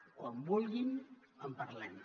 quan vulguin en parlem